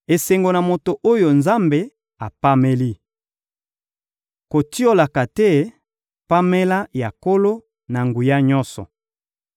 Esengo na moto oyo Nzambe apameli! Kotiolaka te pamela ya Nkolo-Na-Nguya-Nyonso.